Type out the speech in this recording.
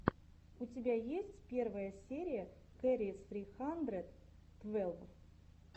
у тебя есть первая серия кэрри сри хандрэд твэлв